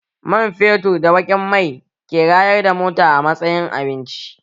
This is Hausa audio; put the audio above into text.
Man fetur da baƙin mai ke rayar da mota a matsayin abinci